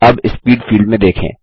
अब speed field में देखें